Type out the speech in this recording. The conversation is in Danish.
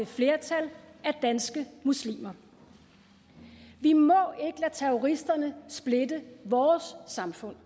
flertal af danske muslimer vi må ikke lade terroristerne splitte vores samfund